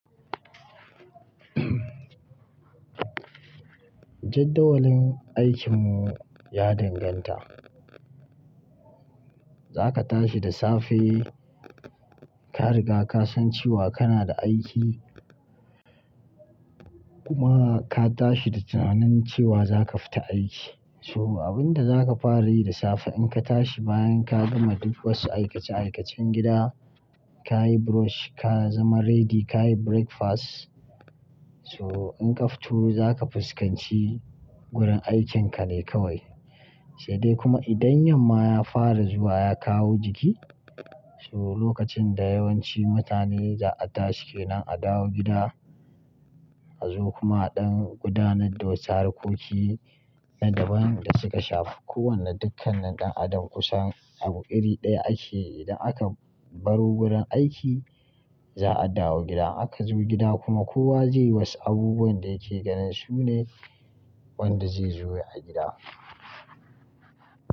Jadawalin aikinmu ya danganta. Zaka tashi da safe, ka riga ka san cewa kana da aiki kuma ma ka tashi da tunanin cewa zaka fita aiki. So abinda zaka fara yi da safe in ka tashi bayan ka gama duk wasu aikace-aikacen gida, ka yi brush, ka zama ready, ka yi breakfast. So in ka fito zaka fuskanci wurin aikinka ne kawai. Sai dai kuma idan yamma ya fara zuwa ya kawo jiki, so lokacin da yawanci mutane za a tashi ke nan a dawo gida, a zo kuma ɗan gudanar da wutsar kuki nan da ban da suka shafi kowane dukkanin ɗan adam kusan abu iri ɗaya ake idan aka baro wurin aiki za a dawo gida. Aka zo gida kuma kowa zai wasu abubuwan da yake ganin su ne wanda zai zo a gida.